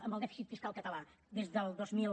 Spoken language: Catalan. amb el dèficit fiscal català des del dos mil